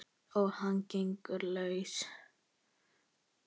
Og hann gengur laus!